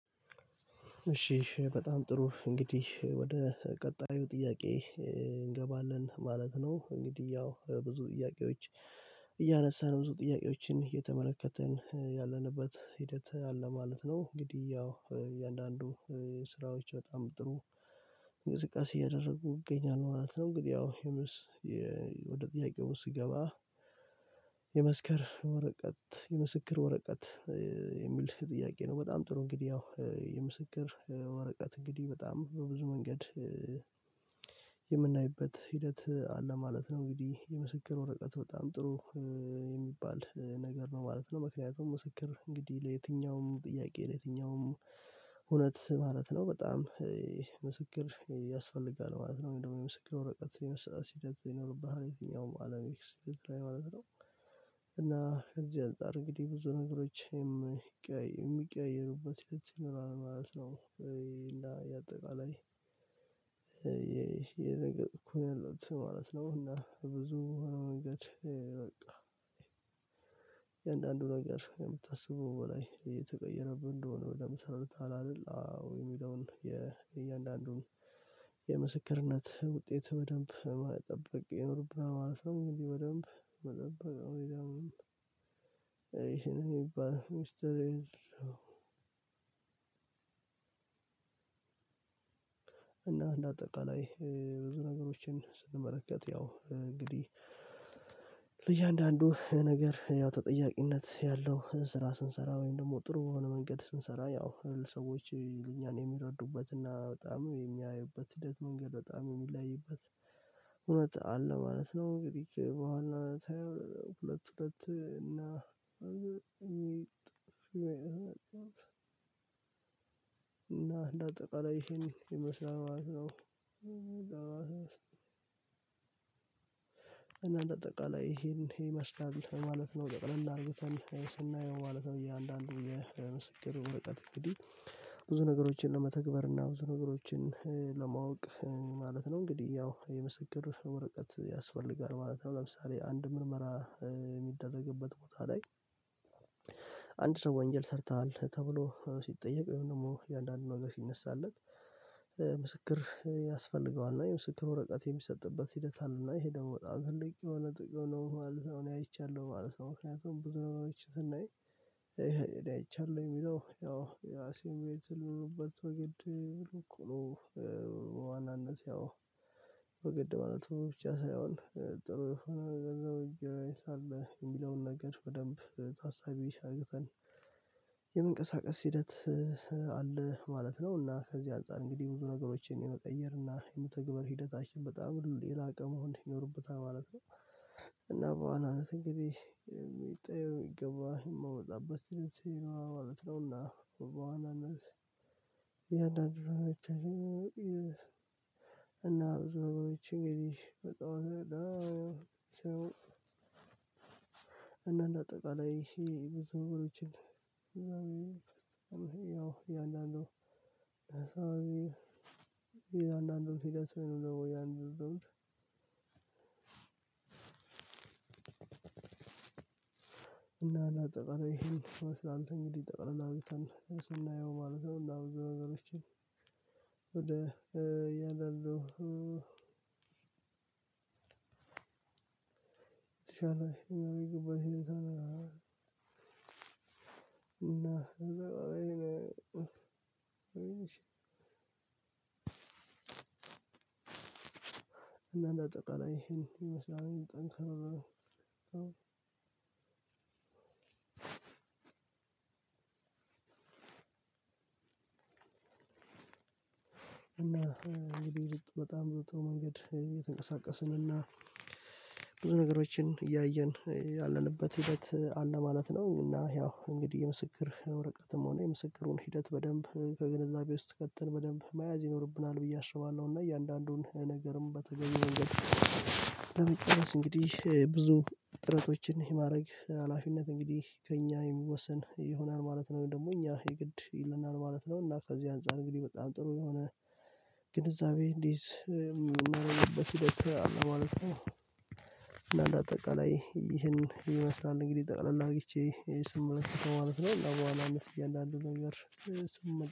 እሺ በጣም ጥሩ እንግዲህ ወደ ቀጣዩ ጥያቄ እንገባለን ማለት ነው። እንግዲህ ያው ብዙ ጥያቄዎች እያነሳን ብዙ ጥያቄዎችን እየተመለከትን ያለንበት ሂደት አለ ማለት ነው። እንግዲህ ያው እያንዳንዱ ስራዎች በጣም ጥሩ እንቅስቃሴ እያደረጉ ይገኛሉ ማለት ነው። እንግዲህ ያው የመስ ወደ ጥያቄው ስገባ የመስከር ወረቀት የምስክር ወረቀት የሚል ጥያቄ ነው። በጣም ጥሩ እንግዲህ ያው የምስክር ወረቀት እንግዲህ በጣም በብዙ መንገድ የምናይበት ሂደት አለ ማለት ነው። እንግዲህ የምስክር ወረቀት በጣም ጥሩ የሚባል ነገር ነው ማለት ነው። ምክንያቱም ምስክር እንግዲህ ለየትኛውም ጥያቄ ለየትኛውም እውነት ማለት ነው በጣም ምስክር ያስፈልጋል ማለት ነው። ደግሞ የምስክር ወረቀት ሲደግፍ ይኖርብሃል የትኛውም አለም ኤክስፒሪያን ማለት ነው። እና እዚህ አንፃር እንግዲህ ብዙ ነገሮችን የሚቀያየሩበት የት ሲኖራል ማለት ነው። እና የአጠቃላይ ይሄ ነገር እኩል ነው ማለት ነው። እና በብዙ መንገድ በቃ እያንዳንዱ ነገር ከምታስበው በላይ እየተቀየረብን እንደሆነ ወደ ምሳሌ ታላለህ አዎ የሚለውን የእያንዳንዱን የምስክርነት ውጤት በደንብ መጠበቅ ይኖርብናል ማለት ነው። እንዲህ በደንብ መጠበቅ ነው የሚለው አይደለም ይሄ የሚባል ሚስጥር የለውም። እና እንደ አጠቃላይ ብዙ ነገሮችን ስንመለከት ያው እንግዲህ እያንዳንዱ ነገር ያው ተጠያቂነት ያለው ስራ ስንሰራ ወይም ደግሞ ጥሩ የሆነ መንገድ ስንሰራ ያው ሰዎች ለኛ ነው የሚረዱበት እና በጣም የሚያዩበት ሂደት መንገድ በጣም የሚለያይበት እውነት አለ ማለት ነው። እንግዲህ በኋላ ሁለት ሁለት እና እና እንደ አጠቃላይ ይሄን ይመስላል ማለት ነው አጠቃላይ ይሄንን ይመስላል ማለት ነው። ጠቅለል አድርገን ስናየው ማለት ነው እያንዳንዱ የምስክር እውቀት እንግዲህ ብዙ ነገሮችን ለመተግበር እና ብዙ ነገሮችን ለማወቅ ማለት ነው። እንግዲህ ያው የምስክር ወረቀት ያስፈልጋል ማለት ነው። ለምሳሌ አንድ ምርመራ የሚደረግበት ቦታ ላይ አንድ ሰው ወንጀል ሰርተሃል ተብሎ ሲጠየቅ ወይም ደግሞ የአንዳንድ ነገር ሲነሳለት ምስክር ያስፈልገዋል እና የምስክር ወረቀት የሚሰጥበት ሂደት አለና ይሄ ደግሞ በጣም ትልቅ የሆነ ጥቅም ነው ማለት ነው። እኔ አይቻለሁ ማለት ነው። ምክንያቱም ቡድኖች ስናይ አይቻለሁ የሚለው ያው የትል የሆኑበትን ወገን ቶሎ ዋናነት ያው በግድ ማለት ብቻ ሳይሆን ጥሩ የሆነ ገንዘብ ይገኛል የሚለውን ነገር በደንብ ታሳቢ አርግተን የመንቀሳቀስ ሂደት አለ ማለት ነው። እና ከዚህ አንፃር እንግዲህ ብዙ ነገሮችን የመቀየር እና የመትግበር ሂደታችን በጣም ሌላ ቀን መሆን ይኖርበታል ማለት ነው። እና በዋናነት ጊዜ የሚጠየው የሚገባ የማወጣበት ነው ማለት ነውና። ያንዳንድ ነገሮችን እና ብዙ ነገሮችን ሜቢ እንደው አጠቃላይ ይሄ ብዙ ነገሮችን ያው የእያንዳንዱ አንዳንዱን ሂደት ነው የምለው ያንን እንደዉም እና አና ጠቃላይ ይሄን ይመስላል እንግዲህ ጠቅለል አድርግተን ስናየው ማለት ነው። እና ብዙ ነገሮችን ወደ የለለው እና እና እና እንዳጠቃላይ ይሄን ይመስላል ጠንካራ እና እንግዲህ በጣም ብዙ ጥሩ መንገድ እየተንቀሳቀስን እና ብዙ ነገሮችን እያየን ያለንበት ሂደት አለ ማለት ነው። እና ያው እንግዲህ የምስክር ወረቀትም ሆነ የምስክሩን ሂደት በደንብ ከግንዛቤ ውስጥ ከተን በደንብ መያዝ ይኖርብናል ብዬ አስባለሁ። እና እያንዳንዱን ነገርም በተገቢው መንገድ ብዙ ጥረቶችን የማድረግ ሀላፊነት እንግዲህ ከእኛ የሚወሰን ይሆናል ማለት ነው። ወይም ደግሞ እኛ የግድ ይልናል ማለት ነው። እና ከዚህ አንፃር እንግዲህ በጣም ጥሩ የሆነ ግንዛቤ እንዲይዝ ምናረግበት ሂደት አለ ማለት ነው። እና እንደ አጠቃላይ ይህን ይመስላል እንግዲህ ጠቅላል አርግቼ ስመለከተው ማለት ነው። ለኋላ አመት እያንዳንዱን ነገር